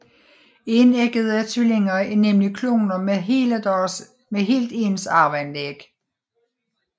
Enæggede tvillinger er nemlig kloner med helt ens arveanlæg